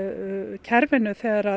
kerfinu þegar